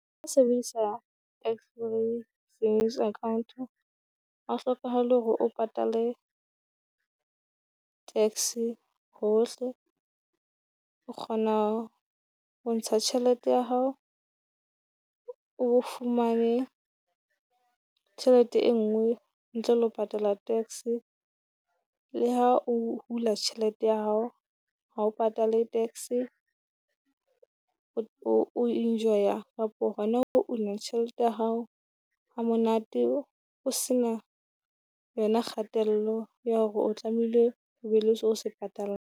Ho sebedisa Extra Savings account ha o hlokahale hore o patale tax-e hohle, o kgona ho ntsha tjhelete ya hao, o fumane tjhelete e nngwe ntle le ho patala tax-e. Le ha o hula tjhelete ya hao ha o patale tax-e, o enjoy-a Kapo hona ho una tjhelete ya hao ha monate o se na yona kgatello ya hore o tlamehile o be le so se .